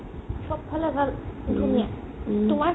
চবফালে ভাল ধুনীয়া তোমাৰ ?